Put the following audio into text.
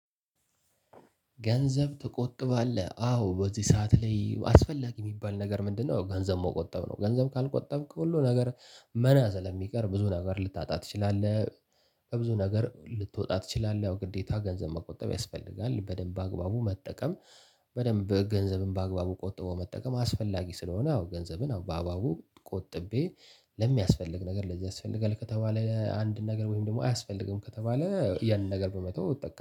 ገንዘብ ትቆጥባለህ አዎ በዚህ ሰዓት ላይ አስፈላጊ ሚባል ነገር ምንድነው? ገንዘብ መቆጠብ ነው። ገንዘብ ካልቆጠብክ ሁሉ ነገር መና ስለሚቀር ብዙ ነገር ልታጣ ትችላለህ ብዙ ነገር ልትወጣ ትችላለህ። ያው ግዴታ ገንዘብ መቆጠብ ያስፈልጋል በደንብ በአግባቡ መጠቀም። በደንብ ገንዘብም በአግባቡ ቆጥበው መጠቀም አስፈላጊ ስለሆነ። አዎ ገንዘብም በአግባቡ ቆጥቤ ለሚያስፈልግ ነገር ለዚህ ያስፈልጋል። ከተባለ አንድ ነገር ወይም ደግሞ አያስፈልግም ከተባለ ያንን ነገር በመተው ይጠቀማል